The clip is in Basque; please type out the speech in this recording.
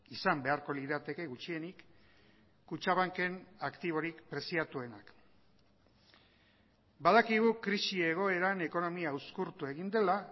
izan beharko lirateke gutxienik kutxabanken aktiborik preziatuenak badakigu krisi egoeran ekonomia uzkurtu egin dela